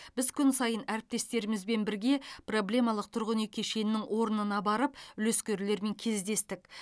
біз күн сайын әріптестерімізбен бірге проблемалық тұрғын үй кешенінің орнына барып үлескерлермен кездестік